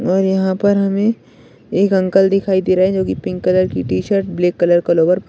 और यहां पर हमें एक अंकल दिखाई दे रहे हैं जो की पिंक कलर की टी-शर्ट ब्लैक कलर का लोअर --